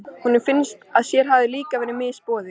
Honum fannst að sér hefði líka verið misboðið.